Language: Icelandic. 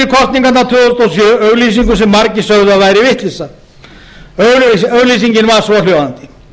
þúsund og sjö auglýsingu sem margir sögðu að væri vitleysa auglýsingin var svohljóðandi